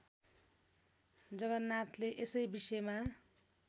जगन्नाथले यसै विषयमा